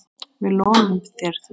Við lofum þér því.